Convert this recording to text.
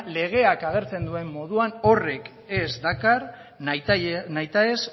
legeak agertzen duen moduan horrek ez dakar nahitaez